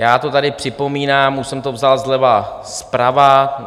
Já to tady připomínám, už jsem to vzal zleva zprava.